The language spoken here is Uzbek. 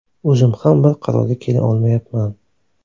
O‘zim ham bir qarorga kela olmayapman.